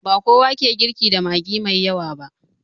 Bakowa ke girki da magi mai yawa ba